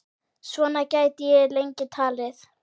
Svona gæti ég lengi talið.